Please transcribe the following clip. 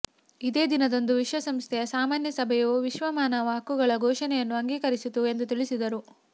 ಇದೇ ದಿನದಂದು ವಿಶ್ವಸಂಸ್ಥೆಯ ಸಾಮಾನ್ಯ ಸಭೆಯು ವಿಶ್ವ ಮಾನವ ಹಕ್ಕುಗಳ ಘೋಷಣೆಯನ್ನು ಅಂಗೀಕರಿಸಿತು ಎಂದು ತಿಳಿಸಿದರು